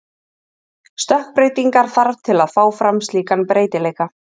Stökkbreytingar þarf til að fá fram slíkan breytileika.